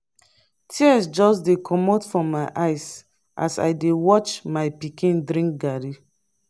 tears just dey comot my eyes as i dey watch my pikin drink garri